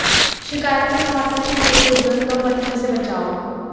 शिकायत में कहा था कि हमें दुर्गंध और मच्छर से बचाओ